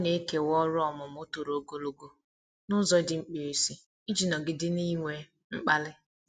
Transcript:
Ọ na-ekewa ọrụ ọmụmụ toro ogologo n'ụzọ dị mkpirisi iji nọgide n'inwe mkpali.